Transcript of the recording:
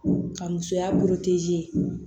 Ka musoya bolo